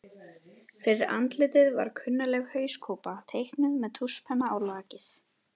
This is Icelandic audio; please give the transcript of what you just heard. Fyrir andlitinu var klunnaleg hauskúpa, teiknuð með tússpenna á lakið.